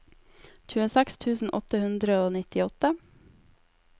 tjueseks tusen åtte hundre og nittiåtte